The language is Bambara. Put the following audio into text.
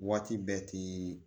Waati bɛɛ ti